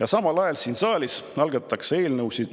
Ja samal ajal algatatakse siin saalis eelnõusid,